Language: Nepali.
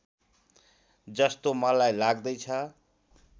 जस्तो मलाई लाग्दैछ